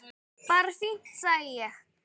Bara fínt sagði ég.